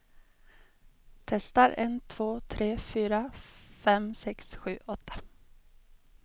Testar en två tre fyra fem sex sju åtta.